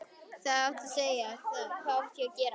Hvað átti ég að segja, hvað átti ég að gera?